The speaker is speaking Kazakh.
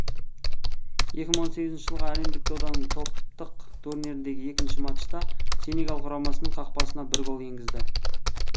екі мың он сегізінші жылғы әлемдік доданың топтық турниріндегі екінші матчта сенегал құрамасының қақпасына бір гол енгізді